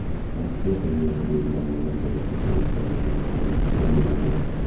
Rossiyada yo‘lni belgilanmagan joyda kesib o‘tgan o‘zbekistonlik qo‘lga olindi.